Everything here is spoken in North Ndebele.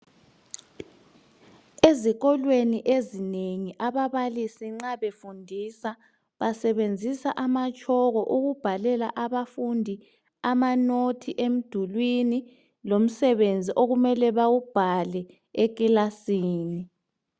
Ezikolweni ezinengi ababalisi nxa befundisaa basebenzisa amatshoko ukubhalela abafundi amanosti emdulwini lomsebenzi okumele bewubhale ekilasini.